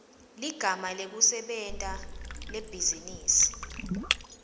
ligama lekusebenta lebhizinisi